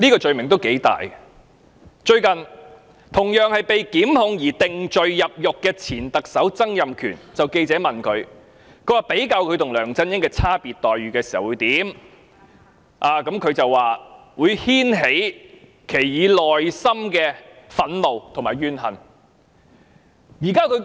事緣同樣因被檢控而定罪入獄的前特首曾蔭權近日被記者問及他對自己與梁振英的待遇差別有何感覺時表示"會牽起以往內心的憤怒和怨恨"。